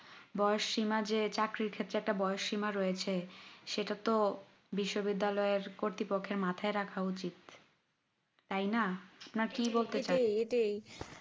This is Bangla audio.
বয়স শিমা যে চাকরির ক্ষেত্রে একটা বয়স শিমা রয়েছে সেটা তো বিশ্ববিদ্যালয় এর কর্তৃপক্ষের মাথায় রাখা উচিত তাই না না কি বলতে চান